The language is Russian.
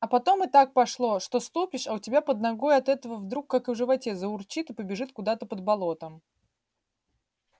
а потом и так пошло что ступишь а у тебя под ногой от этого вдруг как в животе заурчит и побежит куда-то под болотом